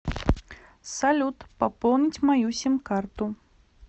салют пополнить мою сим карту